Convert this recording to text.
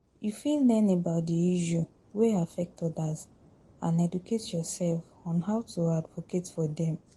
You fit learn about di issue wey affect odas and educate yourself on how to advocate for dem.